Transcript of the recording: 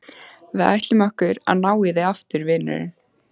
Við ætlum okkur að ná í þig aftur, vinurinn.